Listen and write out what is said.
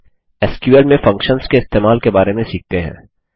आगे एसक्यूएल में फंक्शन्स के इस्तेमाल के बारे में सीखते हैं